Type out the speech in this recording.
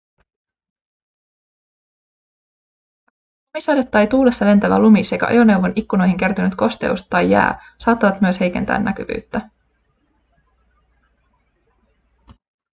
lumisade tai tuulessa lentävä lumi sekä ajoneuvon ikkunoihin kertynyt kosteus tai jää saattavat myös heikentää näkyvyyttä